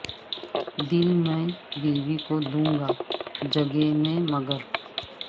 دل میں بیوی کو دوں گا جگہ میں مگر